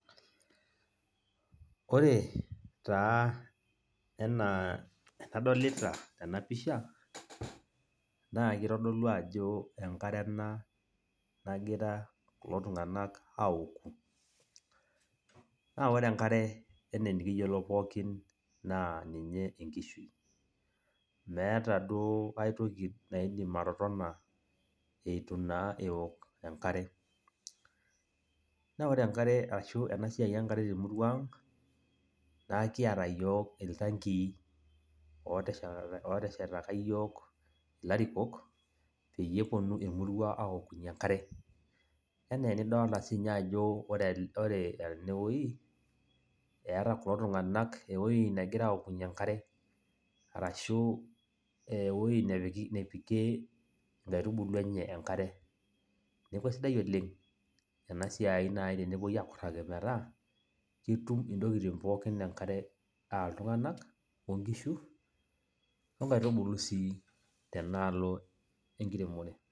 Ore taa enaa enadolita tenapisha, naa kitodolu ajo enkare ena nagira kulo tung'anak aoku. Na ore enkare, enaa enikiyiolo pookin, naa ninye enkishui. Meeta duo aitoki naidim atotona eitu naa eok enkare. Na ore enkare ashu, enasiai enkare temurua ang', nakiata yiok iltankii oteshetaka yiok ilarikok, peyie eponu emurua aokunye enkare. Enaa enidolta sinye ajo ore enewoi, eeta kulo tung'anak ewoi negira aokunye enkare, arashu ewoi nepikie inkaitubulu enye enkare. Neeku aisidai oleng, enasiai nai tenepoi akurraki metaa, ketum intokiting pookin enkare, ah iltung'anak, onkishu onkaitubulu si tenaalo enkiremore.